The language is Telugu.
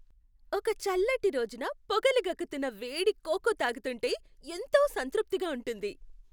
ఒక చల్లటి రోజున పొగలు గక్కుతున్న వేడి కోకో తాగుతుంటే ఎంతో సంతృప్తిగా ఉంటుంది.